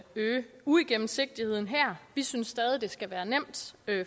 øge uigennemsigtigheden her vi synes stadig det skal være nemt